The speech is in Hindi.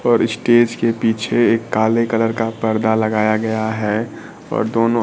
और स्टेज के पीछे एक काले कलर का पर्दा लगाया गया है और दोनों--